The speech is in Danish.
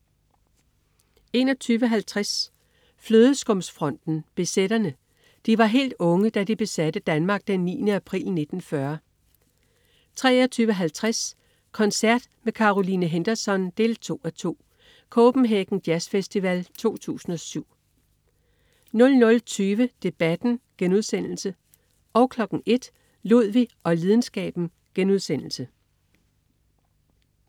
21.50 Flødeskumsfronten. Besætterne. De var helt unge, da de besatte Danmark den 9. april 1940 23.50 Koncert med Caroline Henderson 2:2. Copenhagen Jazzfestival 2007 00.20 Debatten* 01.00 Ludvig og lidenskaben*